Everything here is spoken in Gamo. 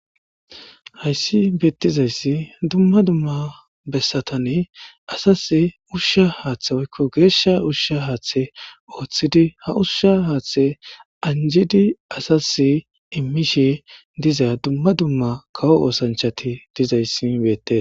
Hayssi beettizayssi dumma dumma bessatane asas ushsha haaththe woykko geeshsha ushsha haaththe ooththidi ha ushsha haaththe anjidi asase immishe diza dumma dumma kawo oosanchati dizayssi beette.